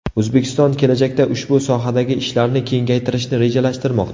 O‘zbekiston kelajakda ushbu sohadagi ishlarni kengaytirishni rejalashtirmoqda.